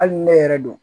Hali ni ne yɛrɛ don